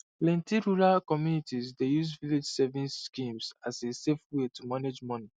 plenty rural communities dey use village savings schemes as a safe way to manage money